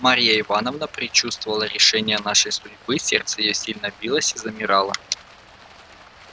марья ивановна предчувствовала решение нашей судьбы сердце её сильно билось и замирало